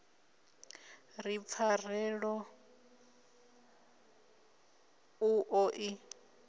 ri pfarelo u ḓo i